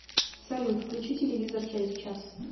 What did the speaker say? салют включи телевизор через час